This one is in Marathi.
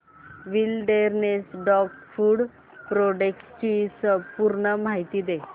विलडेरनेस डॉग फूड प्रोडक्टस ची पूर्ण माहिती दे